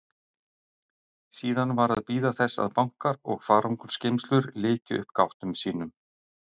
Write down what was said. Síðan var að bíða þess að bankar og farangursgeymslur lykju upp gáttum sínum.